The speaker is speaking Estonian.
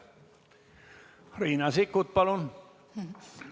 Riina Sikkut, palun!